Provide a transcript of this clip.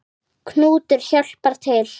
Knútur hjálpar til.